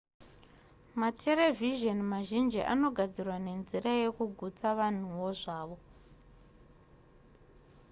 materevhizheni mazhinji anogadzirwa nenzira yekugutsa vanhuwo zvavo